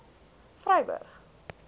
vryburg